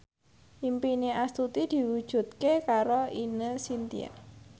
impine Astuti diwujudke karo Ine Shintya